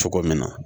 Cogo min na